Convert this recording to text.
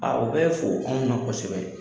Aa o bɛ fo anw na kosɛbɛ.